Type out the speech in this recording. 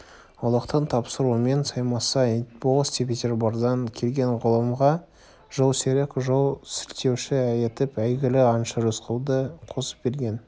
ұлықтың тапсыруымен саймасай болыс петербордан келген ғалымға жолсерік ол жол сілтеуші етіп әйгілі аңшы рысқұлды қосып берген